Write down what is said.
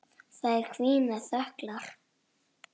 Þær hvína þöglar.